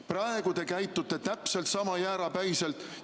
Praegu te käitute täpselt sama jäärapäiselt.